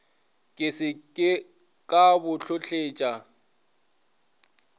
ke se ka bo hlotletša